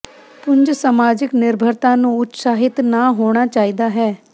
ਪੁੰਜ ਸਮਾਜਿਕ ਨਿਰਭਰਤਾ ਨੂੰ ਉਤਸ਼ਾਹਿਤ ਨਾ ਹੋਣਾ ਚਾਹੀਦਾ ਹੈ